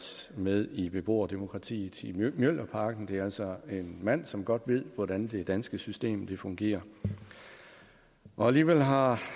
med i beboerdemokratiet i mjølnerparken det er altså en mand som godt ved hvordan det danske system fungerer alligevel har